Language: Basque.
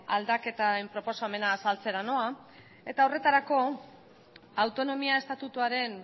aldaketaren proposamena azaltzera noa eta horretarako autonomia estatutuaren